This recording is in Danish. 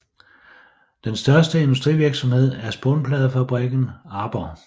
Den største industrivirksomhed er spånpladefabrikken Arbor